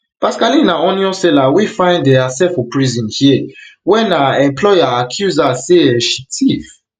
pascaline na onion seller wey find um herself for prison here wen her employer accuse her say um she tiff